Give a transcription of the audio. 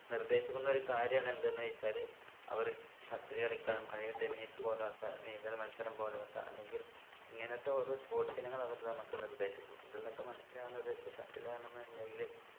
നിർദേശിക്കുന്ന ഒരു കാര്യാണ് എന്ത് എന്ന് വെച്ചാൽ അവറ് shuttle കളിക്കാനും അല്ലെങ്കി tennis പോലോത്ത നീന്തൽ മത്സരം പോലോത്ത അല്ലെങ്കിൽ ഇങ്ങനത്തെ ഓരോ sports ഇനങ്ങൾ അവർ നമുക്ക് നിർദ്ദേശിക്കും ഇതിന്നൊക്കെ മനസ്സിലാകുന്നത് ഇപ്പൊ shuttle ആണെന്നുണ്ടെങ്കില്